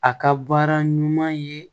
A ka baara ɲuman ye